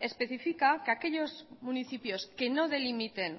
especifica que aquellos municipios que no delimiten